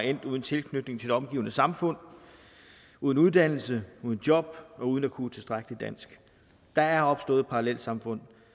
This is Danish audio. endt uden tilknytning til det omgivende samfund uden uddannelse uden job og uden at kunne tilstrækkeligt dansk der er opstået parallelsamfund